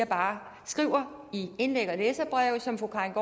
bare indlæg og læserbreve som fru karin